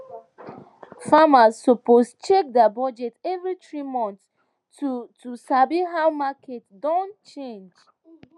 farmers suppose check their budget every three months to to sabi how market don change